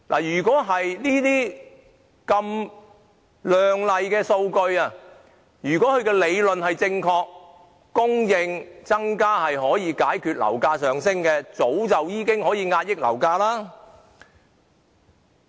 如果政府這些亮麗的數據能夠說明增加供應可以解決樓價上升的理論是正確的話，早應可以遏抑樓價了。